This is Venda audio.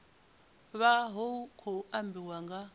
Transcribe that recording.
vha hu khou ambiwa nga